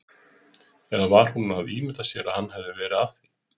Eða var hún að ímynda sér að hann hefði verið að því?